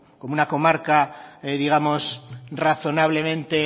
como una comarca digamos razonablemente